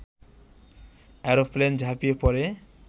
aeroplane ঝাঁপিয়ে পরে